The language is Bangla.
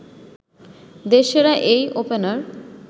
দেশসেরা এই ওপেনার